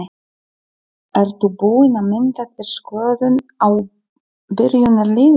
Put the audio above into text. Ertu búinn að mynda þér skoðun á byrjunarliðinu?